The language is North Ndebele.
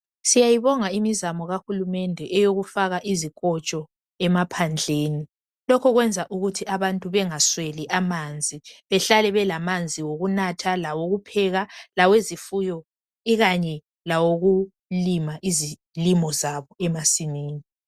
Siyayibonga imizamo kahulumende eyokufaka izikotsho emaphandleni lokho kwenza ukuthi abantu bengasweli amanzi, behlale belamanzi okunatha, lawokupheka, lawezifuyo ikanye lawokulima izilimo zabo emasimini.